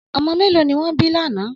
Ọmọ mẹ́lọ̀ ni wọn bí lánà?